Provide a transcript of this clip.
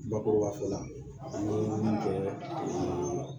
Bakurubafɔ la an ye min kɛ